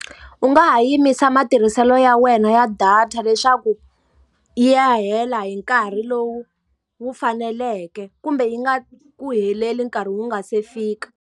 U nga ha yimisa matirhiselo ya wena ya data leswaku yi ya hela hi nkarhi lowu wu faneleke, kumbe yi nga ku heleli nkarhi wu nga se fika.